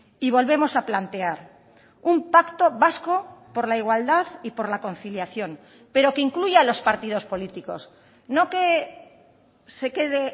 y volvemos a plantear un pacto vasco por la igualdad y por la conciliación pero que incluya a los partidos políticos no que se quede